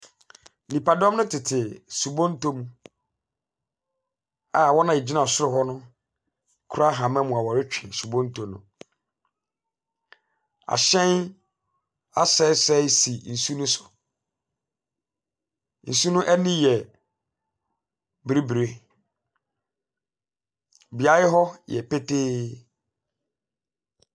Nipadɔm no tete subonto mu, a wɔn a wɔgyina soro no kura ahama mu a wɔretwe subonto no asɛesɛe si nsu no so. Nsu no ani yɛ bibire. Beae hɔ yɛ petee.